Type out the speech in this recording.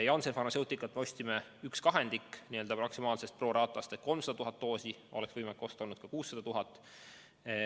Janssen Pharmaceuticalt me ostsime 1/2 maksimaalsest pro rata'st ehk 300 000 doosi, ehkki oleks võimalik olnud osta ka 600 000.